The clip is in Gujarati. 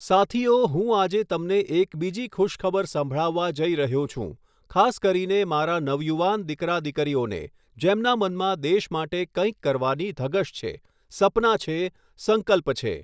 સાથીઓ, હું આજે તમને એક બીજી ખુશખબર સંભળાવવા જઈ રહ્યો છું, ખાસ કરીને મારા નવયુવાન દિકરા દિકરીઓને, જેમના મનમાં દેશ માટે કંઈક કરવાની ધગશ છે, સપના છે, સંકલ્પ છે.